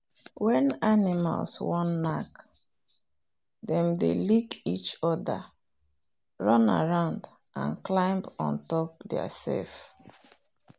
when animals wan knack dem dey lick each other run around and climb on top theirself.